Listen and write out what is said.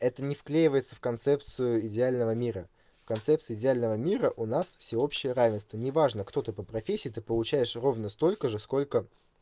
это не вклеивается в концепцию идеального мира в концепции идеального мира у нас всеобщее равенство неважно кто ты по профессии ты получаешь ровно столько же сколько